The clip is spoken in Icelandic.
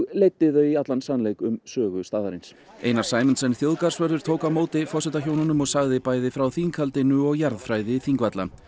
leiddi þau í allan sannleik um sögu staðarins Einar Sæmundsen þjóðgarðsvörður tók á móti forsetahjónunum og sagði bæði frá þinghaldinu og jarðfræði Þingvalla